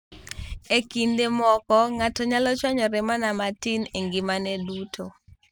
E kinde moko, ng'ato nyalo chwanyore mana matin e ngimane duto.